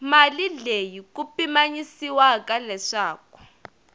mali leyi ku pimanyisiwaka leswaku